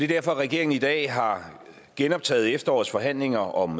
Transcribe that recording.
derfor regeringen i dag har genoptaget efterårets forhandlinger om